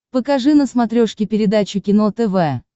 покажи на смотрешке передачу кино тв